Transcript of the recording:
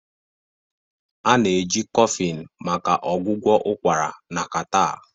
A na-eji Coffin maka ọgwụgwọ ụkwara na catarrh